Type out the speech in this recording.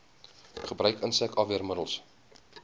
gebruik insek afweermiddels